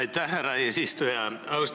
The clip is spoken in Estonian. Aitäh, härra eesistuja!